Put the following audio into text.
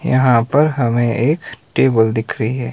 यहां पर हमें एक टेबल दिख रही है।